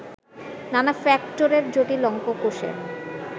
নানা ফ্যাক্টরের জটিল অঙ্ক কষে